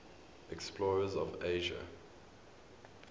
explorers of asia